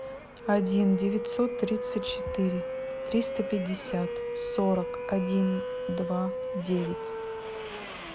один девятьсот тридцать четыре триста пятьдесят сорок один два девять